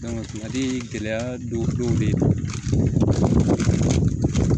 kumadɔ in gɛlɛya don dɔw be yen